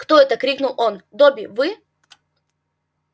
кто это крикнул он добби вы